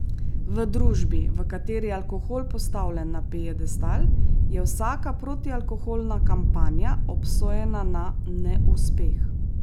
V družbi, v kateri je alkohol postavljen na piedestal, je vsaka protialkoholna kampanja obsojena na neuspeh.